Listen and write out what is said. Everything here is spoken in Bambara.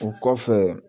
O kɔfɛ